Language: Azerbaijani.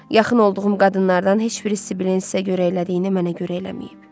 Yaxın olduğum qadınlardan heç biri Sibil Veysə görə elədiyini mənə görə eləməyib.